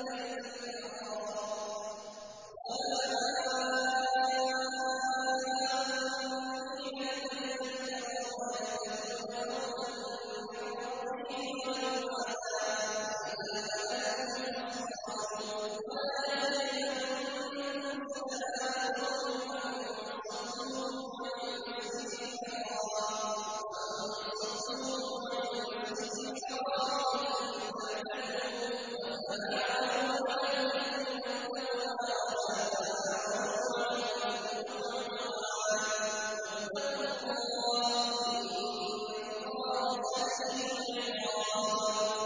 الْبَيْتَ الْحَرَامَ يَبْتَغُونَ فَضْلًا مِّن رَّبِّهِمْ وَرِضْوَانًا ۚ وَإِذَا حَلَلْتُمْ فَاصْطَادُوا ۚ وَلَا يَجْرِمَنَّكُمْ شَنَآنُ قَوْمٍ أَن صَدُّوكُمْ عَنِ الْمَسْجِدِ الْحَرَامِ أَن تَعْتَدُوا ۘ وَتَعَاوَنُوا عَلَى الْبِرِّ وَالتَّقْوَىٰ ۖ وَلَا تَعَاوَنُوا عَلَى الْإِثْمِ وَالْعُدْوَانِ ۚ وَاتَّقُوا اللَّهَ ۖ إِنَّ اللَّهَ شَدِيدُ الْعِقَابِ